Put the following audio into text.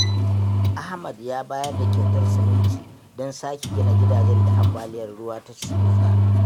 Ahmad ya bayar da kyautar siminti don sake gina gidajen da ambaliyar ruwa ta rusa.